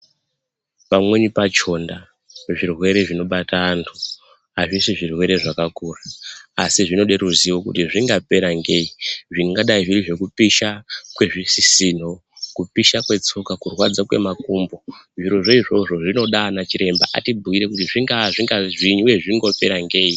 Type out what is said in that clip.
Pamweni pachona zvirwere zvinobata antu azvisi zvirwere zvakakura asi zvinode ruzivo kuti zvingapera ngei. Zvingadai zviri kupisha kwezvisisino, kupisha kwetso, kurwadza kwemakumbo. Zviro zvo izvozvo zvinoda anachiremba atibhiire kuti zvingaa kana, zvinozi uye zvino pera ngei